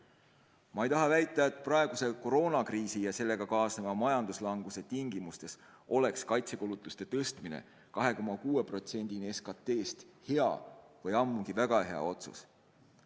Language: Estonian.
Ma ei taha väita, et praeguse koroonakriisi ja sellega kaasnenud majanduslanguse tingimustes oleks kaitsekulutuste tõstmine 2,6%-ni SKT-st hea või väga hea otsus.